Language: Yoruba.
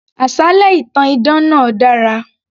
Àsálẹ́ ìtàn idán náà dára